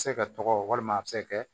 A bɛ se ka tɔgɔ walima a bɛ se kɛ